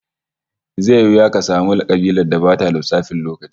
Zai yi wuya ka samu kabilar da bata da lissafin lokaci